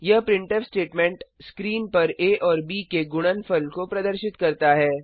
यह printf statement screen पर आ और ब के गुणनफल को प्रदर्शित करता है